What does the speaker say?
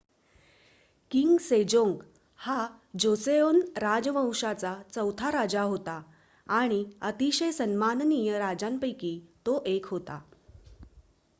king Sejong हा Joseon राजवंशाचा चौथा राजा होता आणि अतिशय सन्माननीय राजांपैकी तो 1 होता